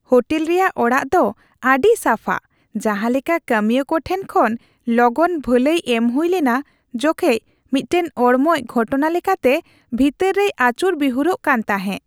Hotel ᱨᱮᱭᱟᱜ ᱚᱲᱟᱜ ᱫᱚ ᱟᱹᱰᱤ ᱥᱟᱯᱷᱟ, ᱡᱟᱸᱦᱟ ᱞᱮᱠᱟ ᱠᱟᱹᱢᱤᱭᱟᱹ ᱠᱚ ᱴᱷᱮᱱ ᱠᱷᱚᱱ ᱞᱚᱜᱚᱱ ᱵᱷᱟᱹᱞᱟᱹᱭ ᱮᱢ ᱦᱩᱭ ᱞᱮᱱᱟ ᱡᱚᱠᱷᱮᱡ ᱢᱤᱫᱴᱟᱝ ᱚᱲᱢᱚᱡ ᱜᱷᱚᱴᱚᱱᱟ ᱞᱮᱠᱟᱛᱮ ᱵᱷᱤᱛᱟᱹᱨ ᱨᱮᱭ ᱟᱹᱪᱩᱨ ᱵᱤᱦᱩᱨᱚᱜ ᱠᱟᱱ ᱛᱟᱦᱮ ᱾